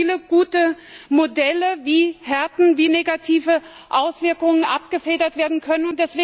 Es gibt viele gute Modelle, wie Härten und negative Auswirkungen abgefedert werden können.